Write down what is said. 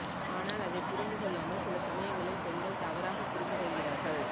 ஆனால் அதை புரிந்து கொள்ளாமல் சில சமயங்களில் பெண்கள் தவறாக புரிந்து கொள்கிறார்கள்